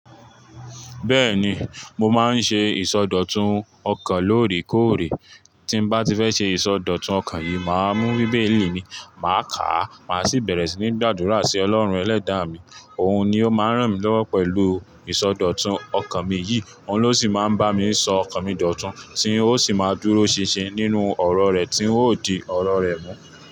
Bẹ́ẹ̀ni, mo máa ń ṣe ìsọdọ̀tun ọkàn lóòrèkóòrè. Tí bá ti fẹ́ ṣe ìsọdọ̀tun ọkàn yìí, màá mú bíbélì mi, màá kà á, màá sì bẹ̀rẹ̀ sí ní gbàdúrà sí Ọlọ́run Ẹlẹ́dàá mi. Òun ni ó máa ń ràn mí lọ́wọ́ pẹ̀lú ìsọdọ̀tun ọkàn mi yìí, òun ló sì máa ń bá mi sọ ọkàn mi dọ̀tun, tí ó sì máa dúró ṣinṣin nínú ọ̀rọ̀ rẹ̀ tí ń ó di ọ̀rọ̀ rẹ̀ mú.